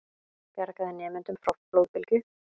Bjargaði nemendum frá flóðbylgju